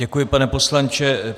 Děkuji, pane poslanče.